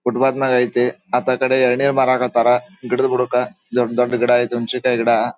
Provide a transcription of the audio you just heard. Foot path ನಾಗೇ ಐತೆ ಅತ್ತ ಕಡೆ ಎಳ್ನೀರು ಮಾರಾಕ್ ಹತ್ತಾರ ಗಿಡದ್ ಬುಡಕ್ಕ ದೊಡ್ ದೊಡ್ಡ ಗಿಡ ಐತೆ ಒಂದು ಚಿಕ್ಕ ಗಿಡ.